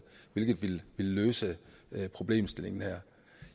hvilket ville løse problemet her